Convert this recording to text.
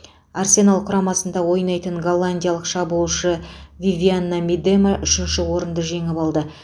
арсенал құрамасында ойнайтын голландиялық шабуылшы вивианна мидема үшінші орынды жеңіп алды